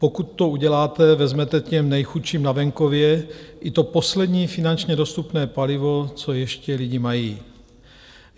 Pokud to uděláte, vezmete těm nejchudším na venkově i to poslední finančně dostupné palivo, co ještě lidi mají.